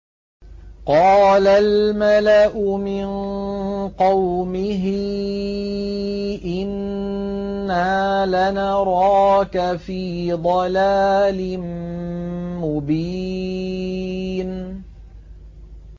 قَالَ الْمَلَأُ مِن قَوْمِهِ إِنَّا لَنَرَاكَ فِي ضَلَالٍ مُّبِينٍ